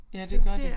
Ja det gør de